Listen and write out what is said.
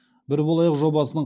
бір болайық жобасының